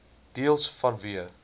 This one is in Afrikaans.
deels vanweë